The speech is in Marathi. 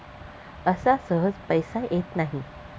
असा सहज पैसा येत नाही.